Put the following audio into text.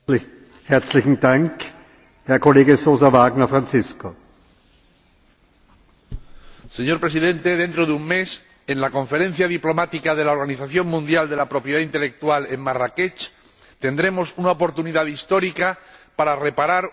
Señor Presidente, dentro de un mes, en la Conferencia Diplomática de la Organización Mundial de la Propiedad Intelectual en Marrakech, tendremos una oportunidad histórica para reparar una gran injusticia la falta de acceso a la cultura de las personas con alguna discapacidad visual.